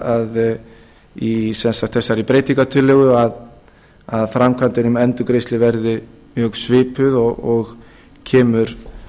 að í sem sagt þessari breytingartillögu að framkvæmd um endurgreiðslu verði mjög svipuð og kemur